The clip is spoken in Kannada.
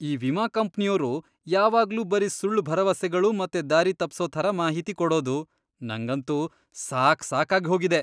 ಈ ವಿಮಾ ಕಂಪ್ನಿಯೋರು ಯಾವಾಗ್ಲೂ ಬರೀ ಸುಳ್ಳ್ ಭರವಸೆಗಳು ಮತ್ತೆ ದಾರಿತಪ್ಸೋ ಥರ ಮಾಹಿತಿ ಕೊಡೋದು.. ನಂಗಂತೂ ಸಾಕ್ ಸಾಕಾಗಿ ಹೋಗಿದೆ.